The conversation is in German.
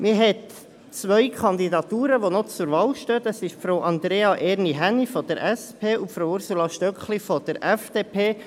Man hat zwei Kandidaturen, die noch zur Wahl stehen: Frau Andrea Erni Hänni von der SP und Frau Ursula Stöckli von der FDP.